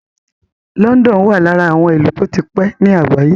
London wà lára àwọn ìlú tó ti pé ní àgbáyé.